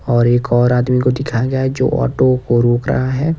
और एक और आदमी को दिखाया गया है जो ऑटो को रोक रहा है।